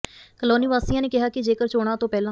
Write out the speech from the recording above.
colony ਵਾਸੀਆਂ ਨੇ ਕਿਹਾ ਕਿ ਜੇਕਰ ਚੋਣਾਂ ਤੋਂ ਪਹਿਲਾ